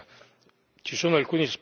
il collega Zwiefka.